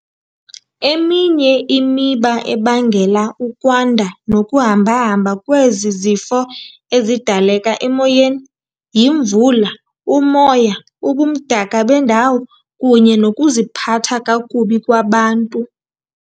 Eminye imiba ebangela ukwanda nokuhamba-hamba kwezi zifo ezidaleka emoyeni yimvula, umoya, ubumdaka bendawo kunye nokuziphatha kakubi kwabantu.